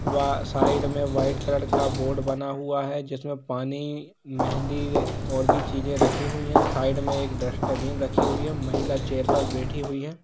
वहाँ साइड मे white colour का बोर्ड बना हुआ हैं जिस मे पानी मेहँदी और भी चीजें रखी हुई हैं साइड मे एक डस्टबिन रखी हुई हैं महिला चेयर पर बेठी हुई हैं।